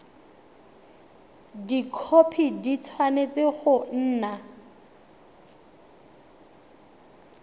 dikhopi di tshwanetse go nna